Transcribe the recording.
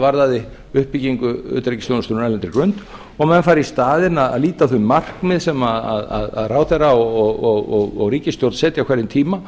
varðaði uppbyggingu utanríkisþjónustunnar á erlendri grund og menn færu í staðinn að líta á þau markmið sem ráðherra og ríkisstjórn setja á hverjum tíma